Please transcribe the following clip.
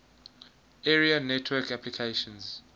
area network applications